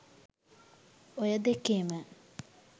ඔය දෙකේම